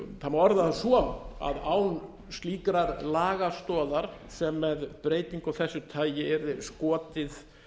má orða það svo að án slíkrar lagastoðar sem með breytingu af þessu tagi yrði skotið